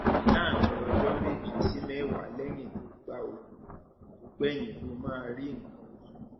láàárín ọjọ méje sí mẹwàá lẹyìn tó gba òògùn tó gbẹyìn ló máa rí nǹkan oṣù